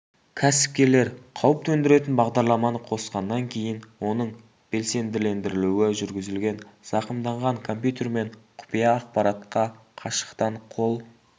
кәсіпкерлер қауіп төндіретін бағдарламаны қосқаннан кейін оның белсенділендірілуі жүргізілген зақымданған компьютер мен құпия ақпаратқа қашықтан қол